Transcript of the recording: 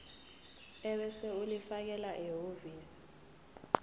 ebese ulifakela ehhovisi